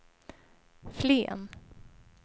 Flen